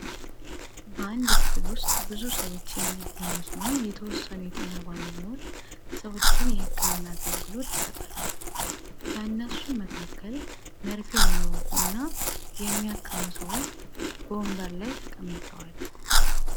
በአንድ ክፍል ዉስጥ ብዙ ሰዎች የሚገኙ ሲሆን የተወሰኑ የጤና ባለሙያዎች ሰዎችን የህክምና አገልግሎት ይሰጣሉ። ከእነሱም መካከል መርፌ የሚወጉ እና የሚያክሙ ሰዎች በወንበር ላይ ተቀምጠዋል።